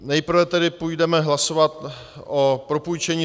Nejprve tedy půjdeme hlasovat o propůjčení